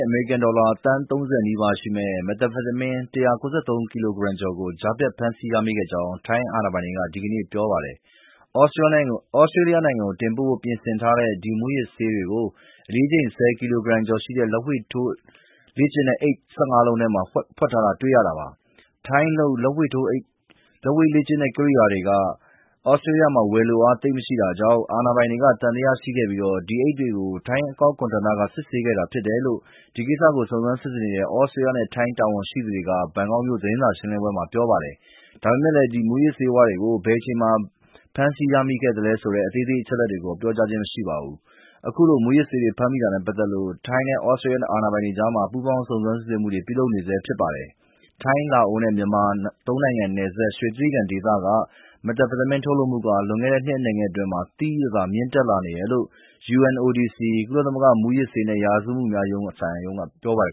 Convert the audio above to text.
အမေရိကန်ဒေါ်လာ သန်း ၃၀ နီးပါးရှိမယ့် မက်သ်အမ်ဖက်တမင်း မူးယစ်ဆေး ၁၉၃ ကီလိုဂရမ်ကျော်ကို ကြားဖြတ်ဖမ်းဆီးရမိခဲ့ကြောင်း ထိုင်းအာဏာပိုင်တွေက ဒီကနေ့ ပြောပါတယ်။ ဩစတေးလျနိုင်ငံကိုပို့ဖို့ ပြင်ဆင်ထားတဲ့ ဒီမူးယစ်ဆေးတွေကို တအိတ်ကို အလေးချိန် ၁၀ ကီလိုဂရမ်ကျော်ရှိတဲ့ လက်ဝှေ့ထိုးလေ့ကျင့်တဲ့ အိတ် ၁၅ လုံးထဲမှာ ဖွက်ထည့်ထားတာကို ရှာဖွေ ဖမ်းဆီးမိခဲ့တာပါ။ ထိုင်းလုပ် လက်ဝှေ့ထိုးလေ့ကျင့်တဲ့ ကိရိယာတွေကသြစတြေးလျမှာ ဝယ်လိုအား သိပ်မရှိတာကြောင့် အာဏာပိုင်တွေက သံသယရှိခဲ့ပြီး ဒီအိတ်တွေကို ထိုင်းအကောက်ခွန်ဌာနက စစ်ဆေးခဲ့တာဖြစ်တယ်လို့ ဒီကိစ္စကို စုံစမ်းစစ်ဆေးနေတဲ့ သြစတေးလျနဲ့ ထိုင်းတာဝန်ရှိသူတွေက ဘန်ကောက်မြို့ သတင်းစာရှင်းလင်းပွဲမှာ ပြောပါတယ်။ ဒါပေမဲ့ ဒီမူးယစ်ဆေးဝါးတွေကို ဘယ်အချိန်မှာ ဖမ်းဆီးသိမ်းဆည်းရမိခဲ့သလဲဆိုတဲ့ အသေးစိတ်အချက်တွေကိုတော့ ပြောကြားခြင်းမရှိပါဘူး။ အခုလို မူးယစ်ဆေးတွေ ဖမ်းမိတာနဲ့ပတ်သက်လို့ ထိုင်းနဲ့ သြစတြေးလျ အာဏာပိုင်တွေအကြား ပူးပေါင်း စုံစမ်းစစ်ဆေးမှုတွေ ပြုလုပ်နေဆဲဖြစ်ပါတယ်။ ထိုင်း၊ လာအိုနဲ့ မြန်မာ သုံးနိုင်ငံနယ်စပ် ရွှေတြိဂံဒေသက မက်သ်အမ်ဖက်တမင်းထုတ်လုပ်မှု လွန်ခဲ့တဲ့ နှစ်အနည်းငယ်အတွင်း သိသိသာသာမြင့်တက်လာနေတယ်လို့ UNODC ကုလသမဂ္ဂ မူးယစ်ဆေးနဲ့ ရာဇဝတ်မှုများဆိုင်ရာရုံးက ပြောပါတယ်